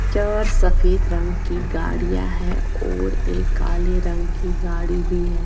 चार सफेद रंग की गाडियां है और एक काले रंग की गाडी भी है।